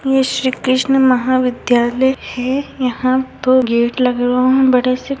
ये श्री कृष्ण महाविधालय है। यहाँ दो गेट लगे हुए हैं वहाँं बड़े से --